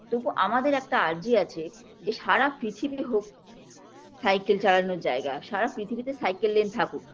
তবুও আমাদের একটা আর্জি আছে যে সারা পৃথিবী হোক cycle চালানোর জায়গা সারা পৃথিবীতে cycle lane থাকুক